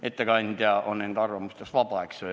Ettekandja on enda arvamustes vaba, eks ole.